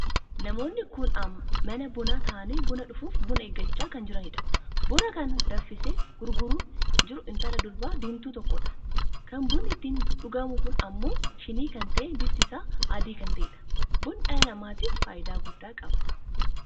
Namoon kun mana bunaa tahaanii buna dhufuuf buna eeggachaa kan jiraniidha. buna kana kan dafisee gurgurama jiru intala durba diimtuu tokoodha. kan bunni ittiin dhugamu kun ammoo shinii kan tahee bifti isaa adii kan taheedha. bunni dhala namaatiif faayidaa guddaa qaba.